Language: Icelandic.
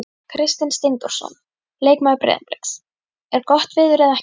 Kristinn Steindórsson leikmaður Breiðabliks: Er gott veður eða ekki?